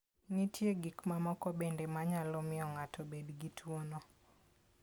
Nitie gik mamoko bende manyalo miyo ng'ato obed gi tuwono.